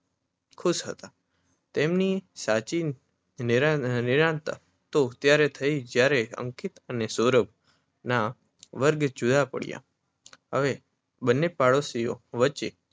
ખુશ હતા. તેમની સાચી નિરાંત તો ત્યારે થઈ જયારે અંકિત અને સૌરભ ના વર્ગ જુદા પડ્યા હવે બને પાડોશીઓ વચ્ચે